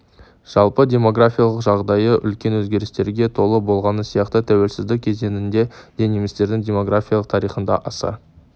жалпы демографиялық жағдайы үлкен өзгерістерге толы болғаны сияқты тәуелсіздік кезеңінде де немістердің демографиялық тарихында аса